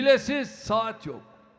Çiləsiz saat yox.